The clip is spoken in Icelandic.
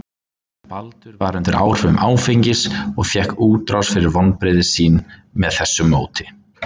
Baldur var undir áhrifum áfengis og fékk útrás fyrir vonbrigði sín með þessu móti.